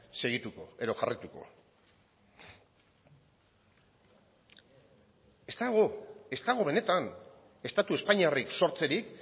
segituko edo jarraituko ez dago ez dago benetan estatu espainiarrik sortzerik